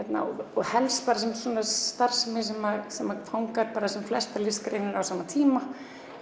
og helst starfsemi sem sem fangar flestar listgreinar á sama tíma